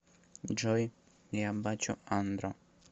джой я бачу андро